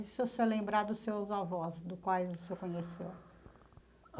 E se o senhor lembrar dos seus avós, do quais o senhor conheceu?